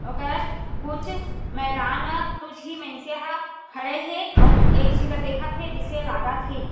ओकर कुछ मैदान मा तू झी मइनसे ह खड़े हे अउ एक झी ला देखत हे जिसे लागत हे।